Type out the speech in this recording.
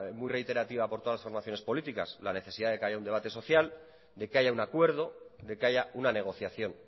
muy reiterativa por todas las formaciones políticas la necesidad de que haya un debate social de que haya un acuerdo de que haya una negociación